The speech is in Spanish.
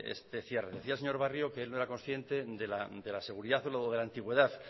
este cierre decía el señor barrio que él no era consciente de la seguridad o de la antigüedad